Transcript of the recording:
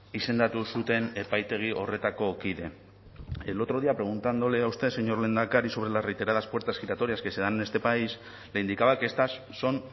izendatu zuten epaitegi horretako kide el otro día preguntándole a usted señor lehendakari sobre las reiteradas puertas giratorias que se dan en este país le indicaba que estas son